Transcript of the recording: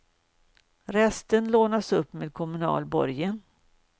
Resten lånas upp med kommunal borgen.